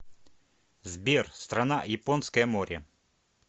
сбер страна японское море